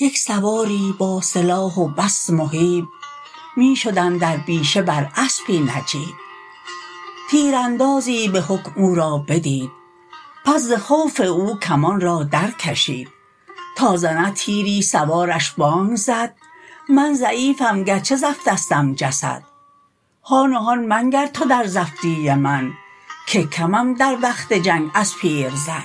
یک سواری با سلاح و بس مهیب می شد اندر بیشه بر اسپی نجیب تیراندازی بحکم او را بدید پس ز خوف او کمان را در کشید تا زند تیری سوارش بانگ زد من ضعیفم گرچه زفتستم جسد هان و هان منگر تو در زفتی من که کمم در وقت جنگ از پیرزن